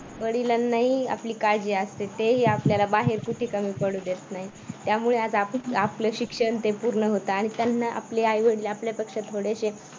वडिलांनाही आपली काळजी असते ते ही आपल्याला बाहेर कुठलीही कमी पडू देत नाही त्यामुळे आज आपलं शिक्षण ते पूर्ण होतं आणि त्यांना आपले आई-वडील आपल्यापेक्षा थोडेसे